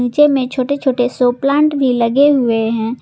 नीचे में छोटे छोटे शो प्लांट भी लगे हुए हैं।